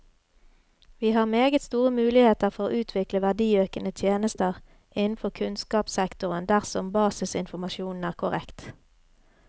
Vi har meget store muligheter for å utvikle verdiøkende tjenester innenfor kunnskapssektoren dersom basisinformasjonen er korrekt.